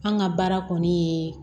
An ka baara kɔni ye